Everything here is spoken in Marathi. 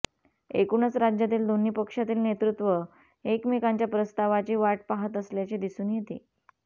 एकूणच राज्यातील दोन्ही पक्षांतील नेतृत्व एकमेकांच्या प्रस्तावाची वाट पाहत असल्याचे दिसून येते